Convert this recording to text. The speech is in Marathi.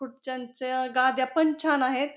खुडच्यांच्या गाद्या पण छान आहेत.